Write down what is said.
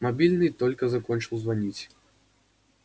мобильный только закончил звонить